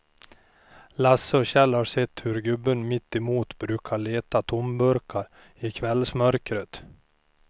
Lasse och Kjell har sett hur gubben mittemot brukar leta tomburkar i kvällsmörkret.